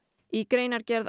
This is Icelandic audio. í greinargerð